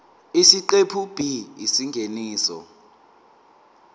isiqephu b isingeniso